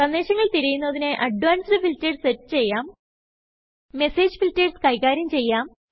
സന്ദേശങ്ങൾ തിരയുന്നതിനായി advanced filters set ചെയ്യാം മെസ്സേജ് ഫിൽറ്റെർസ് കൈകാര്യം ചെയ്യാം